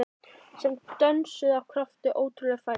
Sem dönsuðu af krafti- af ótrúlegri færni